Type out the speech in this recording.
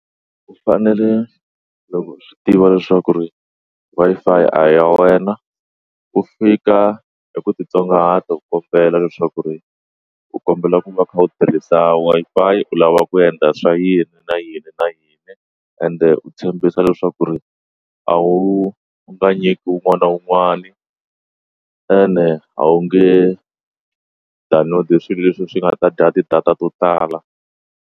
U fanele loko swi tiva leswaku ri Wi-Fi a ya wena u fika eku titsongahata dokodela leswaku ri u kombela ku va u kha u tirhisa Wi-Fi u lava ku endla swa yini yini na yini na yini ende u tshembisa leswaku ri a wu u nga nyiki wun'wani na wun'wani ene a wu nge download swilo leswi swi nga dya ti-data to tala.